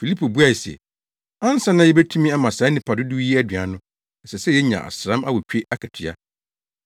Filipo buae se, “Ansa na yebetumi ama saa nnipa dodow yi aduan no, ɛsɛ sɛ yenya asram awotwe akatua.”